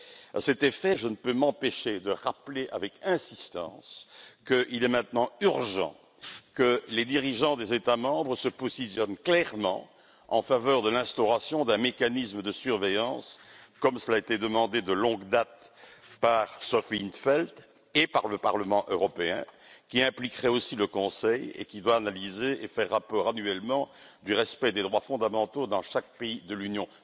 À cet effet, je ne peux m'empêcher de rappeler avec insistance qu'il est maintenant urgent que les dirigeants des États membres se positionnent clairement en faveur de l'instauration d'un mécanisme de surveillance, comme cela a été demandé de longue date par Sophia in t Veld et par le Parlement européen, qui impliquerait aussi le Conseil et qui doit analyser et faire rapport annuellement quant au respect des droits fondamentaux dans chaque pays de l'Union.